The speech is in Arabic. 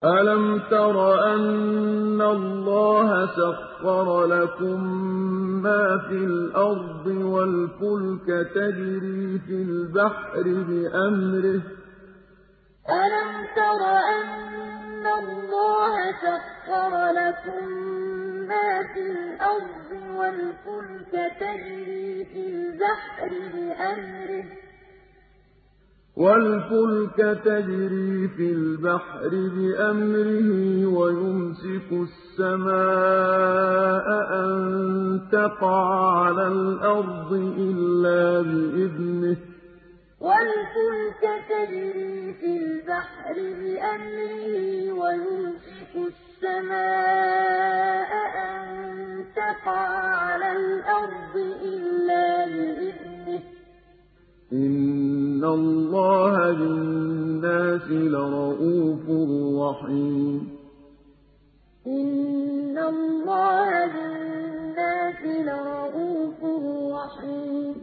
أَلَمْ تَرَ أَنَّ اللَّهَ سَخَّرَ لَكُم مَّا فِي الْأَرْضِ وَالْفُلْكَ تَجْرِي فِي الْبَحْرِ بِأَمْرِهِ وَيُمْسِكُ السَّمَاءَ أَن تَقَعَ عَلَى الْأَرْضِ إِلَّا بِإِذْنِهِ ۗ إِنَّ اللَّهَ بِالنَّاسِ لَرَءُوفٌ رَّحِيمٌ أَلَمْ تَرَ أَنَّ اللَّهَ سَخَّرَ لَكُم مَّا فِي الْأَرْضِ وَالْفُلْكَ تَجْرِي فِي الْبَحْرِ بِأَمْرِهِ وَيُمْسِكُ السَّمَاءَ أَن تَقَعَ عَلَى الْأَرْضِ إِلَّا بِإِذْنِهِ ۗ إِنَّ اللَّهَ بِالنَّاسِ لَرَءُوفٌ رَّحِيمٌ